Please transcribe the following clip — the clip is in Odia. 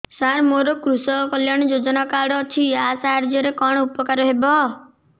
ସାର ମୋର କୃଷକ କଲ୍ୟାଣ ଯୋଜନା କାର୍ଡ ଅଛି ୟା ସାହାଯ୍ୟ ରେ କଣ ଉପକାର ହେବ